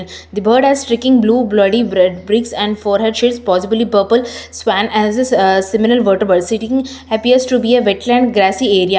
the bird has streaking blue bloody red beaks and forehead is possibly purple swan as his uh similar setting appears to be a wetland grassy area.